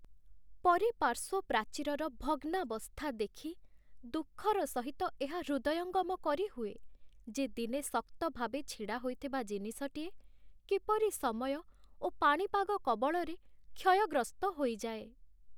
ପରିପାର୍ଶ୍ଵ ପ୍ରାଚୀରର ଭଗ୍ନାବସ୍ଥା ଦେଖି ଦୁଃଖର ସହିତ ଏହା ହୃଦୟଙ୍ଗମ କରିହୁଏ ଯେ ଦିନେ ଶକ୍ତ ଭାବେ ଛିଡ଼ା ହୋଇଥିବା ଜିନିଷଟିଏ କିପରି ସମୟ ଓ ପାଣିପାଗ କବଳରେ କ୍ଷୟଗ୍ରସ୍ତ ହୋଇଯାଏ ।